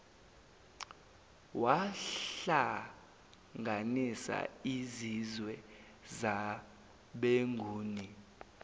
wahlanganisa izizwe zabenguni